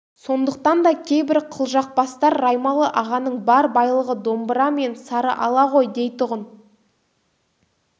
сондықтан да кейбір қылжақбастар раймалы-ағаның бар байлығы домбыра мен сарыала ғой дейтұғын